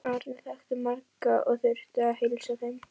Árni þekkti marga og þurfti að heilsa þeim.